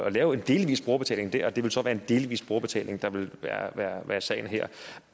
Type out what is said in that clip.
at lave en delvis brugerbetaling der og det vil så være en delvis brugerbetaling der vil være være sagen her